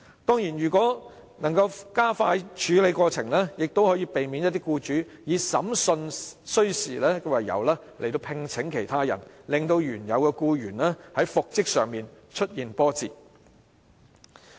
當然，如能加快處理有關訴訟，亦可避免一些僱主以審訊需時為由而聘請其他人，令原有僱員在復職上出現波折。